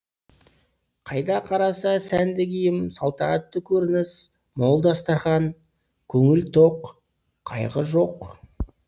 қайда қараса сәнді киім салтанатты көрініс мол дастархан көңіл тоқ қайғы жоқ